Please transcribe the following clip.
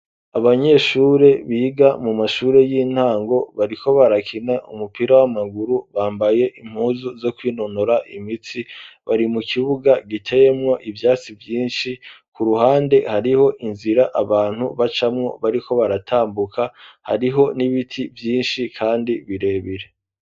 abanyeshure biga mu mashuri y'intango bariko barakina umupira w'amaguru bambaye impuzu zo kwinonora imitsi bari mu kibuga giteyemwo ivyatsi vyinshi ku ruhande hariho inzira abantu bacamwo bariko baratambuka hariho n'ibiti vyinshi kandi birebire.